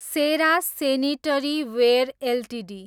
Sera sanitaryware Ltd